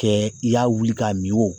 Kɛ i y'a wili k'a min o